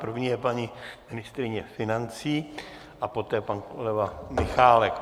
První je paní ministryně financí a poté pan kolega Michálek.